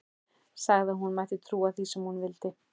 Sagði að hún mætti trúa því sem hún vildi.